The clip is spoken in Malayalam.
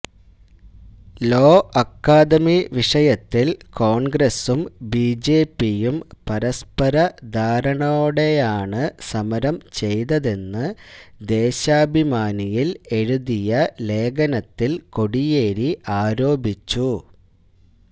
ലോ അക്കാദമി വിഷയത്തില് കോണ്ഗ്രസും ബിജെപിയും പരസ്പര ധാരണയോടെയാണ് സമരം ചെയ്തതെന്ന് ദേശാഭിമാനിയില് എഴുതിയ ലേഖനത്തില് കോടിയേരി ആരോപിച്ചു